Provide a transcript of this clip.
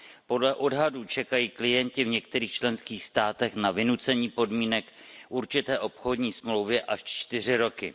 Podle odhadů čekají klienti v některých členských státech na vynucení podmínek určité obchodní smlouvy až čtyři roky.